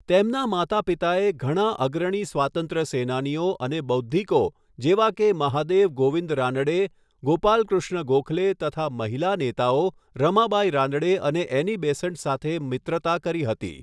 તેમનાં માતા પિતાએ ઘણા અગ્રણી સ્વાતંત્ર્ય સેનાનીઓ અને બૌદ્ધિકો જેવા કે મહાદેવ ગોવિંદ રાનડે, ગોપાલ કૃષ્ણ ગોખલે તથા મહિલા નેતાઓ રમાબાઈ રાનડે અને એની બેસન્ટ સાથે મિત્રતા કરી હતી.